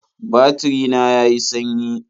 Batiri na ya yi sanyi